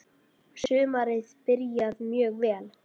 Sumarið byrjaði mjög vel.